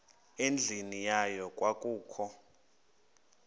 endlwini yayo kwakukho